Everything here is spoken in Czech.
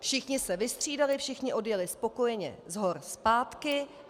Všichni se vystřídali, všichni odjeli spokojeně z hor zpátky.